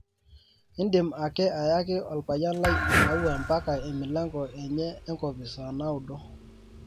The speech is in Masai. indim ake ayaki olpayian lai maua mpaka emilango enye enkopis saa naudo